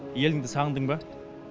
еліңді сағындын ба